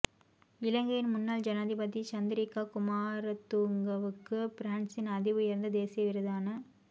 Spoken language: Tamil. இலங்கையின் முன்னாள் ஜனாதிபதி சந்திரிகா குமாரதுங்கவுக்கு பிரான்ஸின் அதி உயர்ந்த தேசிய விருதான